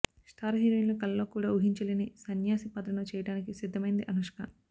star హీరోయిన్లు కలలో కూడా ఊహించలేని సన్యాసి పాత్రను చేయడానికి సిద్ధమైంది అనుష్క